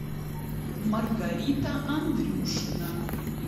маргарита андрюшина